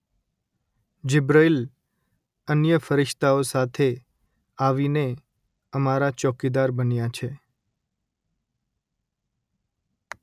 જિબ્રઈલ અન્ય ફરિશ્તાઓ સાથે આવીને અમારા ચોકીદાર બન્યા છે